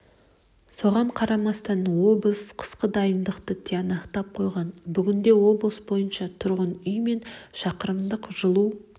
соған қарамастан облыс қысқа дайындықты тиянақтап қойған бүгінде облыс бойынша тұрғын үй мен шақырымдық жылу